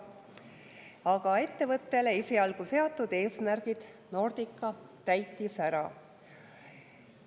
Aga ettevõttele esialgu seatud eesmärgid Nordica täitis ära.